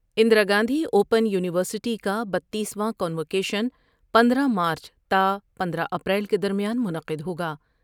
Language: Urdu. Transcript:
Indira Gandhi open university کا بتیس واں کا نوکیشن پندرہ مارچ تا پندرہ اپریل کے درمیان منعقد ہوگا ۔